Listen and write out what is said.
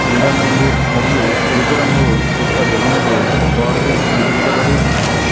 నీలం రంగు మరియు ఎరుపు రంగు యొక్క బెలూన్లు గోడకి అంటించబడి ఉన్నాయి.